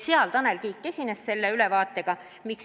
Seal Tanel Kiik esines selle ülevaatega.